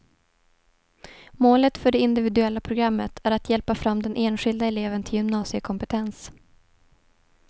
Målet för det individuella programmet är att hjälpa fram den enskilda eleven till gymnasiekompetens.